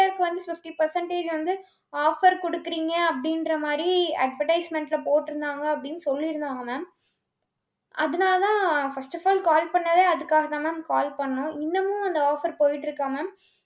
skin care க்கு வந்து fifty percentage வந்து offer குடுக்குறீங்க அப்படின்ற மாதிரி advertisement ல போட்டிருந்தாங்க அப்படின்னு சொல்லிருந்தாங்க mam அதனாலதான் first of all call பண்ணதே அதுக்காகத்தான் ma'am call பண்ணோம். இன்னமும், அந்த offer போயிட்டிருக்கா mam